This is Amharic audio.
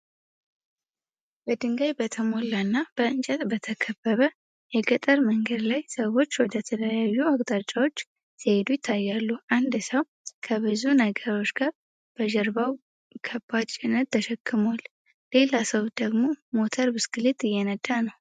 በድንጋይ በተሞላና በእንጨት በተከበበ የገጠር መንገድ ላይ፣ ሰዎች ወደ ተለያዩ አቅጣጫዎች ሲሄዱ ይታያሉ። አንድ ሰው ከብዙ ነገሮች ጋር በጀርባው ከባድ ጭነት ተሸክሟል። ሌላ ሰው ደግሞ ሞተር ብስክሌት እየነዳ ነው።